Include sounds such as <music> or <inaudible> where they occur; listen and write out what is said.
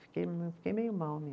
Fiquei, <unintelligible> fiquei meio mal mesmo.